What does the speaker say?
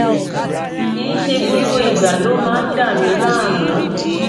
kìí ṣe gbogbo ìgbà ló máa ń dà mí láàmú